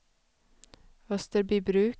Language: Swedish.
Österbybruk